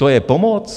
To je pomoc?